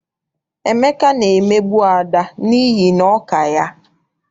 Emeka na-emegbu Ada n'ihi na ọ ka ya.